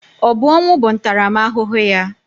Ọ bụ ọnwụ bụ ntaramahụhụ ya?